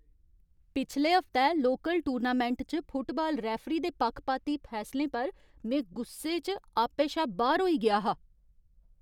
पिछले हफ्तै local tournament च फुटबाल रैफरी दे पक्खपाती फैसलें पर में गुस्से च आपे शा बाह्‌र होई गेआ हा।